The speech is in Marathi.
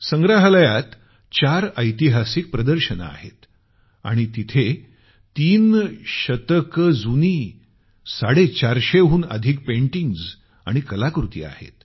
संग्रहालयात चार ऐतिहासिक प्रदर्शनं आहेत आणि तिथं अनेक शतकं जुनी 450 हून अधिक पेंटिंग आणि कलाकृती आहेत